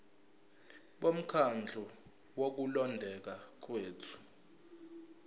bomkhandlu wokulondeka kwethu